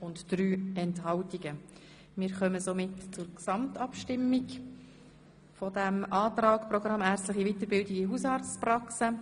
Wie bereits gesagt, werden die Traktandum 58, 61, 62 und 63 sicher in die Septembersession verschoben.